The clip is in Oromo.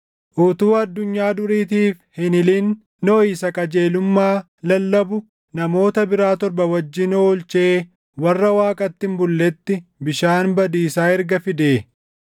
utuu addunyaa duriitiif hin hilin Nohi isa qajeelummaa lallabu namoota biraa torba wajjin oolchee warra Waaqatti hin bulletti bishaan badiisaa erga fidee,